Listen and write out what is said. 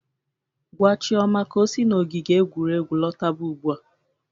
Gwa Chioma ka o si n'ogige egwuregwu lọtaba ụgbụa!